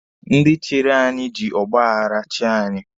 Ndị chịrị anyị ji ọgba aghara chịa anyị